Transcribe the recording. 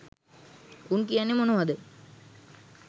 උන් කියන්නෙ මොනවද